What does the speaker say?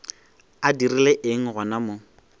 a dirile eng gona mo